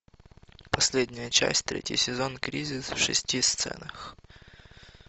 последняя часть третий сезон кризис в шести сценах